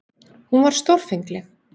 Hún var stórfengleg.